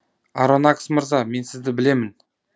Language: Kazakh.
аронакс мырза мен сізді білемін